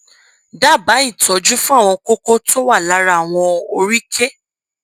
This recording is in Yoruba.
dábàá ìtọjú fún àwọn kókó tó wà lára àwọn oríkèé